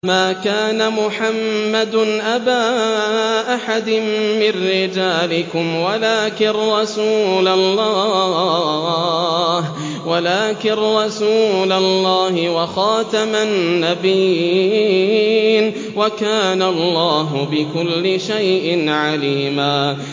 مَّا كَانَ مُحَمَّدٌ أَبَا أَحَدٍ مِّن رِّجَالِكُمْ وَلَٰكِن رَّسُولَ اللَّهِ وَخَاتَمَ النَّبِيِّينَ ۗ وَكَانَ اللَّهُ بِكُلِّ شَيْءٍ عَلِيمًا